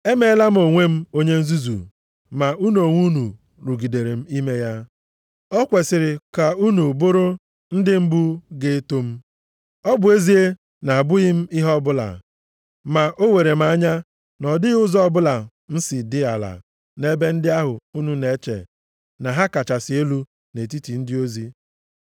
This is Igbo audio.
Emeela m onwe m onye nzuzu ma unu onwe unu rugidere m ime ya. O kwesiri ka unu bụrụ ndị mbụ ga-eto m. Ọ bụ ezie a na-abụghị m ihe ọbụla, ma o were m anya na ọ dịghị ụzọ ọbụla m si dị ala nʼebe ndị ahụ unu na-eche na ha kachasị elu nʼetiti ndị ozi.